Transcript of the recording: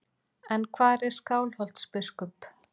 En hvar er Skálholtsbiskup?